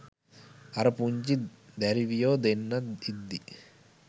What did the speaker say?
අර පුංචි දැරිවියො දෙන්නත් ඉද්දි